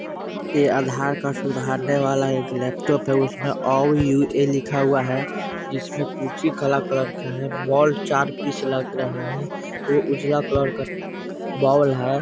ये आधार कार्ड सुधारने वाला एक लैपटॉप है उसमें अ यू.ए. लिखा हुआ है जिसमें कुर्सी काला कलर का है बोल चार पीस लग रहे है और उजला कलर का बोल है।